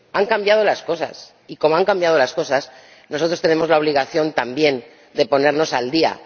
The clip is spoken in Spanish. Han cambiado las cosas y, como han cambiado las cosas, nosotros tenemos la obligación también de ponernos al día.